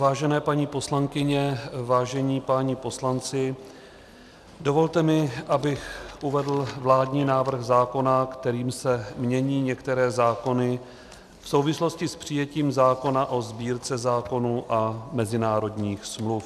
Vážené paní poslankyně, vážení páni poslanci, dovolte mi, abych uvedl vládní návrh zákona, kterým se mění některé zákony v souvislosti s přijetím zákona o Sbírce zákonů a mezinárodních smluv.